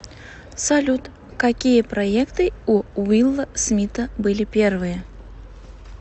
салют какие проекты у уилла смита были первые